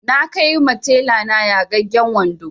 Na kai ma tela na yagagen wando